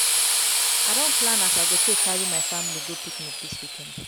i don plan as i go take carry my family go picnic dis weekend.